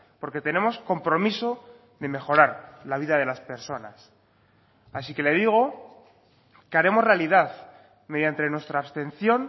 porque tenemos compromiso de mejorar la vida de las personas así que le digo que haremos realidad mediante nuestra abstención